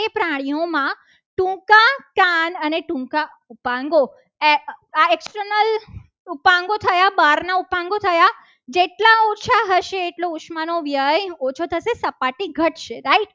એ પ્રાણીઓમાં ટૂંકા કાન અને ટૂંકા ઉપાંગો external ટાંગો થયા. બહારના ઉપાંગો થયા જેટલા ઓછા હશે. એટલું ઉષ્મા નો વ્યય ઓછો થશે. સપાટી ઘટશે. right